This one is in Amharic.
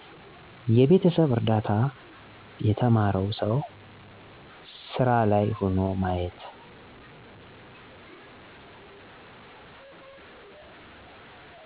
የቤተሰብ እርዳታ የተማረው ሠው ሢራ ላይ ሆኖ ማየት